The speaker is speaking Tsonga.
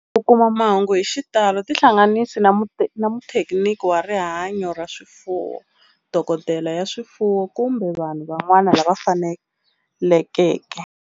Ku kuma mahungu hi xitalo tihlanganisi na muthekiniki wa rihanyo ra swifuwo, dokodela ya swifuwo, kumbe vanhu van'wana lava fanelekeke.